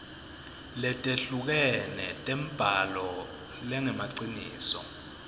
letehlukene tembhalo lengemaciniso